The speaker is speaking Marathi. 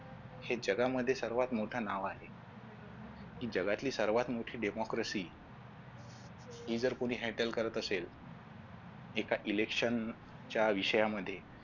हे जगामध्ये सर्वात मोठं नाव आहे ही जगातली सर्वात मोठी ही जर कुणी handle करत असेल एका election च्या विषयांमध्ये